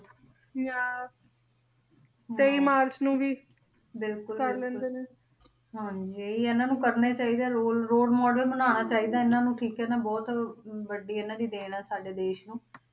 ਹਾਂ ਇਹੀ ਆ ਇਹਨਾਂ ਨੂੰ ਕਰਨਾ ਹੀ ਚਾਹੀਦਾ ਰੋਲ ਰੋਲ model ਬਣਾਉਣਾ ਚਾਹੀਦਾ ਇਹਨਾਂ ਨੂੰ ਠੀਕ ਹੈ ਨਾ ਬਹੁਤ ਵੱਡੀ ਇਹਨਾਂ ਦੀ ਦੇਣ ਹੈ ਸਾਡੇ ਦੇਸ ਨੂੰ